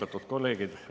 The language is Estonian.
Austatud kolleegid!